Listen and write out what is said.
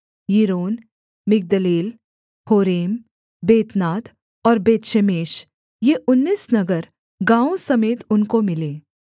Yiron Migdalel Horem Bethanath और Bethshemesh ये उन्नीस नगर गाँवों समेत उनको मिले